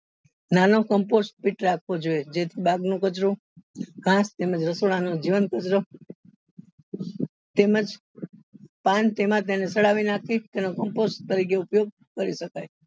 નાનો જેથી બાગ નો કચરો તથા રસોડા નો જીવંત કચરો તેમજ તરીકે ઉપયોગ કરી શકાય